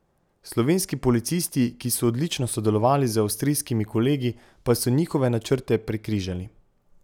Slovenski policisti, ki so odlično sodelovali z avstrijskimi kolegi, pa so njihove načrte prekrižali.